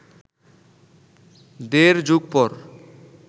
দেড় যুগ পর